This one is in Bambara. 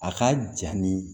A ka ja nin